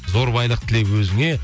зор байлық тіле өзіңе